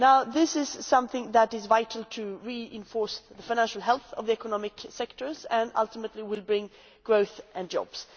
This is something that is vital to reinforce the financial health of the economic sectors and which ultimately will bring growth and jobs.